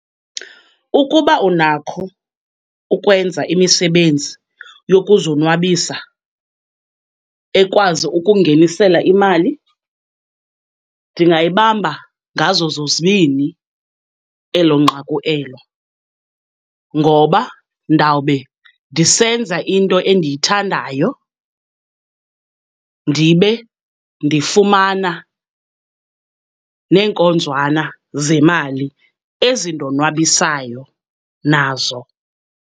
Ukuba unakho ukwenza imisebenzi yokuzonwabisa ekwazi ukungenisela imali, ndingayibamba ngazo zozibini elo nqaku elo, ngoba ndawube ndisenza into endiyithandayo ndibe ndifumana neenkonzwana zemali ezindonwabisayo nazo.